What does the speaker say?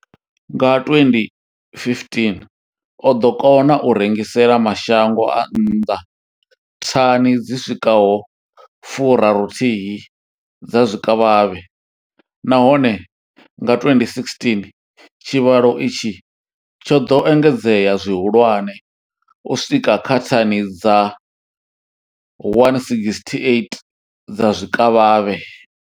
Nga 2015, o ḓo kona u rengisela mashango a nnḓa thani dzi swikaho 31 dza zwikavhavhe, nahone nga 2016 tshivhalo itshi tsho ḓo engedzea zwihulwane u swika kha thani dza 168 dza zwikavhavhe.